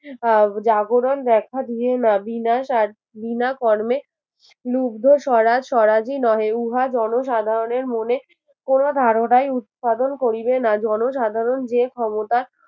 আহ জাগরণ দেখা দিয়ে না বিনা সা বিনা কর্মে মুগ্ধ সরা সরাধিনহে উহা জনসাধারনের মনে কোনো ধারণাই উৎপাদন করিবে না জনসাধারণ যে ক্ষমতা